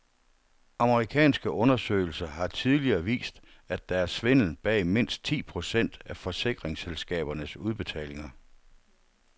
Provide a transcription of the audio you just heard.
Amerikanske undersøgelser har tidligere vist, at der er svindel bag mindst ti procent af forsikringsselskabernes udbetalinger.